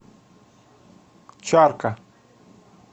чарка